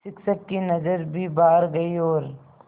शिक्षक की नज़र भी बाहर गई और